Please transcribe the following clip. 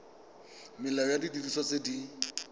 molao wa didiriswa tse di